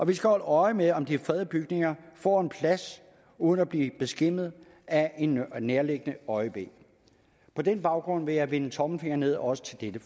vi skal holde øje med om de fredede bygninger får plads uden at blive skæmmet af en nærliggende øjebæ på den baggrund vil jeg vende tommelfingeren nedad også til dette